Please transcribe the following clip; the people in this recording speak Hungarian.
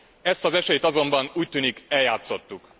Ezt az esélyt azonban úgy tűnik, eljátszottuk.